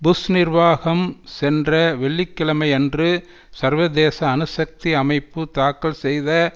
push நிர்வாகம் சென்ற வெள்ளி கிழமையன்று சர்வதேச அணுசக்தி அமைப்பு தாக்கல் செய்த